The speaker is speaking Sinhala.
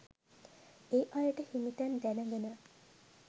ඒ අයට හිමි තැන් දැනගෙන